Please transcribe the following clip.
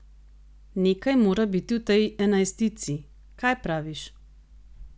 Nekaj mora biti v tej enajstici, kaj praviš?